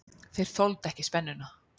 Þeir þoldu ekki spennuna.